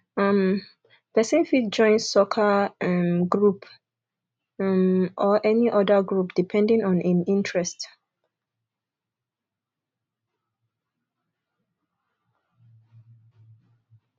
um person fit join soccer um group um or any oda group depending on im interest